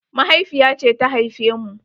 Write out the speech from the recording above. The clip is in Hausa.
Mahaifiya ce ta haife mu.